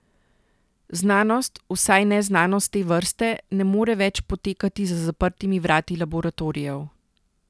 Znanost, vsaj ne znanost te vrste, ne more več potekati za zaprtimi vrati laboratorijev.